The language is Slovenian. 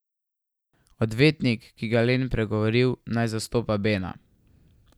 Odvetnik, ki ga je Len pregovoril, naj zastopa Bena.